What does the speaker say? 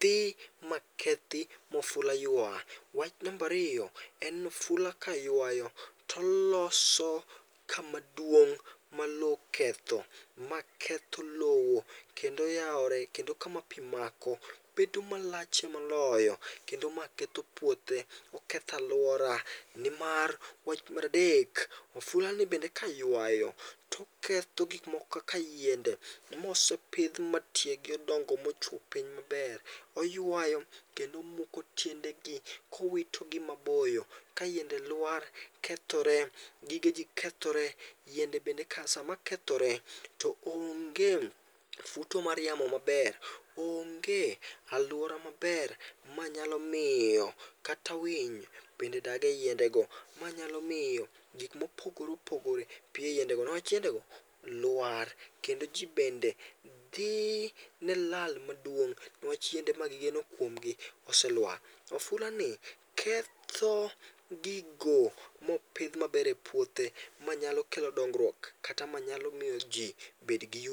dhi makethi ma ofula ywa. Wach namba ariyo, en ni ofula ka ywayo to oloso kamaduong' ma lowo oketho, ma ketho lowo kendo yawore kendo kama pi mako bedo malach miloyo kend ma ketho puothe, oketho aluora nimar wach mar adek, ofulani bende kaywayoto oketho gik moko kaka yiende mosepidh matiegi odongo mochwo piny maber. Oywayo kendo omuko tiendegi kowitogi maboyo. Kayiende lwar, kethore, gigeji kethore. To yiendego bende kasamakethore to onge futo mara yamo maber.,onge aluora maber manyalo miyo kata winy, bende dag eyiendego, manyalo miyo gik mopoore opogore dag eyiendego, lwar kendo ji bende dhi ne lal maduong' nikech yien ma wageno kuom gi oselwar. Ofulani ketho gigo mopidh maber e puothe manyalo kelo dongruok kata maynalo miyo ji bed gi yut